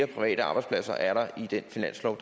private arbejdspladser er der i den finanslov